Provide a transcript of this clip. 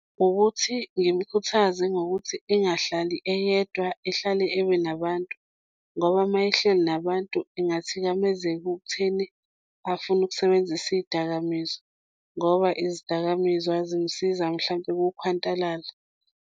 Ukuthi ngimukhuthaze ngokuthi engahlali eyedwa ehlale ebe nabantu, ngoba uma ehleli nabantu engathikamezeka ekutheni afune ukusebenzisa iy'dakamizwa ngoba izidakamizwa zingisiza mhlampe kukhwantalala.